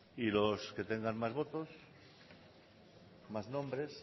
y los que tengan más votos más nombres